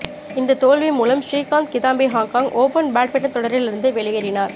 இந்த தோல்வி மூலம் Srikanth Kidambi Hong Kong open badminton தொடரில் இருந்து வெளியேறினார்